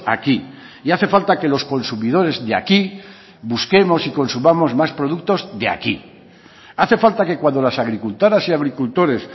aquí y hace falta que los consumidores de aquí busquemos y consumamos más productos de aquí hace falta que cuando las agricultoras y agricultores